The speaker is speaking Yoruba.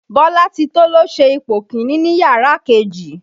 Bọ́látitó ló ṣe ipò kiní ní yàrá kejì